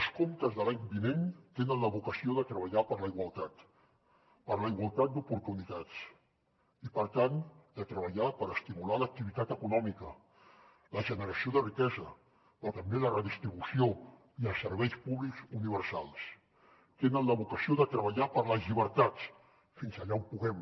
els comptes de l’any vinent tenen la vocació de treballar per la igualtat per la igualtat d’oportunitats i per tant de treballar per estimular l’activitat econòmica la generació de riquesa però també la redistribució i els serveis públics universals tenen la vocació de treballar per les llibertats fins allà on puguem